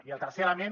i el tercer element